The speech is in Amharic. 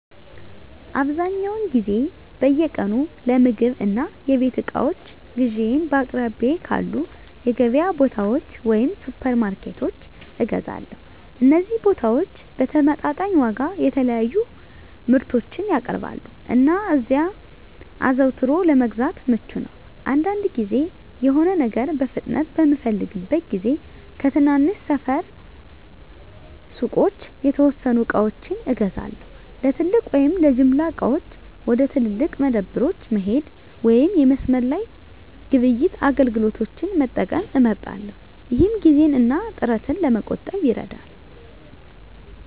አብዛኛውን ጊዜ በየቀኑ ለምግብ እና የቤት እቃዎች ግዢዬን በአቅራቢያው ባሉ የገበያ ቦታዎች ወይም ሱፐርማርኬቶች እገዛለሁ። እነዚህ ቦታዎች በተመጣጣኝ ዋጋ የተለያዩ ምርቶችን ያቀርባሉ, እና እዚያ አዘውትሮ ለመግዛት ምቹ ነው. አንዳንድ ጊዜ፣ የሆነ ነገር በፍጥነት በምፈልግበት ጊዜ ከትናንሽ ሰፈር ሱቆች የተወሰኑ ዕቃዎችን እገዛለሁ። ለትልቅ ወይም ለጅምላ ዕቃዎች፣ ወደ ትላልቅ መደብሮች መሄድ ወይም የመስመር ላይ ግብይት አገልግሎቶችን መጠቀም እመርጣለሁ፣ ይህም ጊዜን እና ጥረትን ለመቆጠብ ይረዳል።